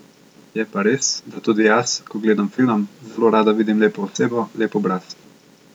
Je pa res, da tudi jaz, ko gledam film, zelo rada vidim lepo osebo, lep obraz ...